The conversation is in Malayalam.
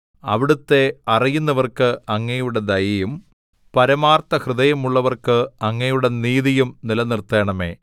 അവിടുത്തെ അറിയുന്നവർക്ക് അങ്ങയുടെ ദയയും പരമാർത്ഥഹൃദയമുള്ളവർക്ക് അങ്ങയുടെ നീതിയും നിലനിർത്തേണമേ